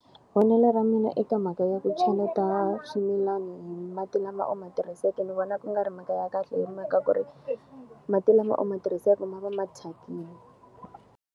Vonelo ra mina eka mhaka ya ku cheleta swimilana hi mati lama u ma tirhiseke ndzi vona ku nga ri mhaka ya kahle hi mhaka ku ri, mati lama u ma tirhiseke ma va ma thyakile.